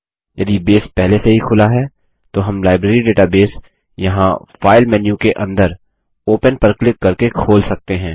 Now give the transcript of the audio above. यदि बेस पहले से ही खुला है तो हम लाइब्रेरी डेटाबेस यहाँ फाइल मेन्यु के अंदर ओपन पर क्लिक करके खोल सकते हैं